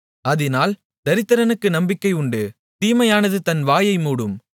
அதினால் தரித்திரனுக்கு நம்பிக்கை உண்டு தீமையானது தன் வாயை மூடும்